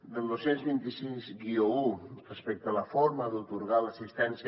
el dos cents i vint sis un respecte a la forma d’atorgar l’assistència